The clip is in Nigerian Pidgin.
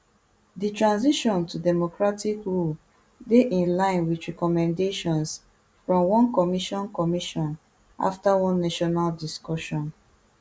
di transition to democratic rule dey in line wit recommendations from one commission commission afta one national discussion